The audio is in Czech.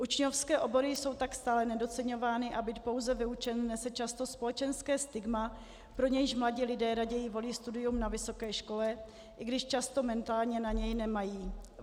Učňovské obory jsou tak stále nedoceňovány a být pouze vyučený nese často společenské stigma, pro nějž mladí lidé raději volí studium na vysoké škole, i když často mentálně na ni nemají.